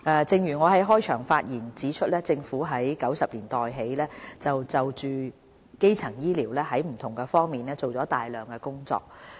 正如我在開場發言中指出，政府自1990年代起就基層醫療在不同方面做了大量的工作。